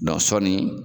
sɔɔni